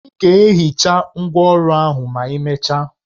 Ị ga-ehicha ngwá ọrụ ahụ ma imecha